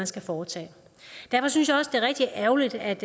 skal foretage derfor synes jeg det er rigtig ærgerligt at